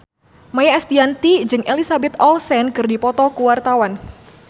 Maia Estianty jeung Elizabeth Olsen keur dipoto ku wartawan